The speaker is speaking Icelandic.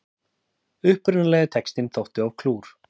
Upprunalegi textinn þótti of klúr